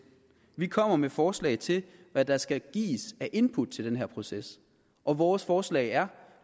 vi kommer med forslag til hvad der skal gives af input til den her proces og vores forslag er